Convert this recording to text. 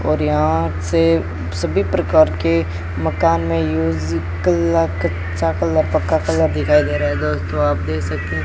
और यहां से सभी प्रकार के मकान में यूज दिखाई दे रहा है दोस्तों आप दे सकते हैं।